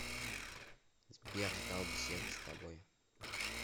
сбер ждал беседы с тобой